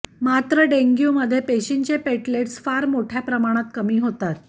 मात्र डेग्यु मध्ये पेशिंचे पेटलेस फार मोठ्या प्रमाणात कमी होतात